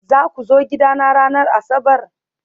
Za ku zo gidana ranar Asabar?